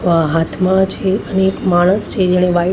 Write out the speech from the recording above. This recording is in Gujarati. અહ હાથમાં છે અને એક માણસ છે જેણે વ્હાઈટ --